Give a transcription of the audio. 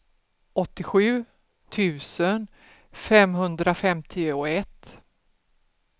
åttiosju tusen femhundrafemtioett